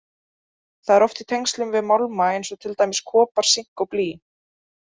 Það er oft í tengslum við málma eins og til dæmis kopar, sink og blý.